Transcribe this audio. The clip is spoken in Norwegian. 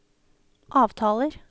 avtaler